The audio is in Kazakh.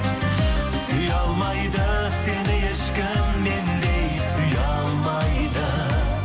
сүйе алмайды сені ешкім мендей сүйе алмайды